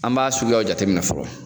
An b'a suguyaw jateminɛ fɔlɔ.